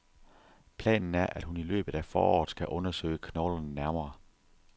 Planen er, at hun i løbet af foråret skal undersøge knoglerne nærmere.